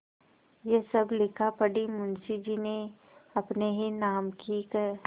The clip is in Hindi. यह सब लिखापढ़ी मुंशीजी ने अपने ही नाम की क्